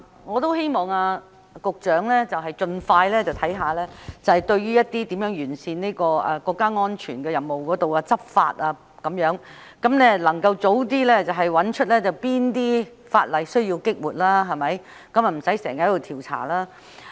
我也希望局長盡快檢視如何完善維護國家安全這任務的執法，能夠早日找出哪些法例需要"激活"，便無需經常進行調查。